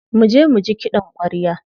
Muje muji kiɗan ƙwarya.